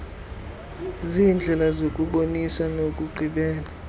ziindlela zokubonisa nokuqhubela